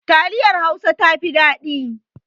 Taliyar Hausa ta fi dadi